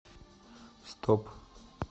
стоп